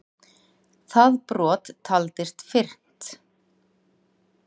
Það brot taldist fyrnt.